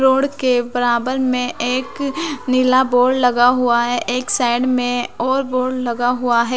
Road के बराबर में एक नीला बोर्ड लगा हुआ है एक साइड में और बोर्ड लगा हुआ है।